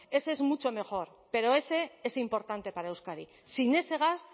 ese es mucho mejor pero ese es importante para euskadi sin ese gas